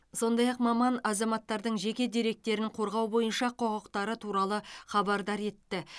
сондай ақ маман азаматтардың жеке деректерін қорғау бойынша құқықтары туралы хабардар етті